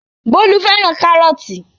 Bólú fẹ́ràn kárọ́tì.